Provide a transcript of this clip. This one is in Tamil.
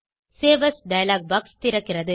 சேவ் ஏஎஸ் டயலாக் பாக்ஸ் திறக்கிறது